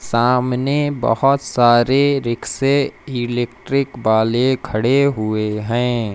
सामने बहोत सारे रिक्शे इलेक्ट्रिक वाले खड़े हुए हैं।